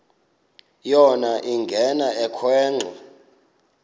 yona ingena ekhwenxua